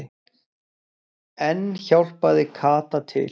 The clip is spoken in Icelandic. Enn hjálpaði Kata til.